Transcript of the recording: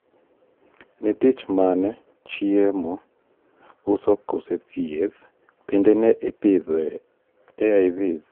ne tich mane (chiemo , uso kose thieth)bende ne ipidhi AIVs